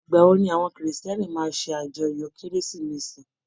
Igbawo ni àwọn kírísítẹ́nì máa n se ajọ́yọ kérésìmesì?